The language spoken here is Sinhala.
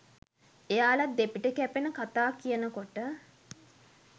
එයාල දෙපිට කැපෙන කතා කියනකොට